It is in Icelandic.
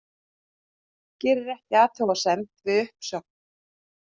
Gerir ekki athugasemd við uppsögn